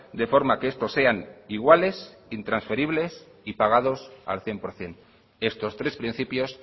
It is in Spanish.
de forma que estos sean iguales intransferibles y pagados al cien por ciento estos tres principios